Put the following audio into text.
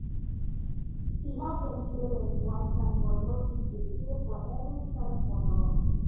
she help dem pay rent one time but no fit dey pay for every time for long